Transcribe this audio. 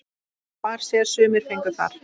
Far sér sumir fengu þar.